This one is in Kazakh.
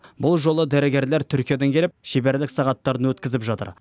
бұл жолы дәрігерлер түркиядан келіп шеберлік сағаттарын өткізіп жатыр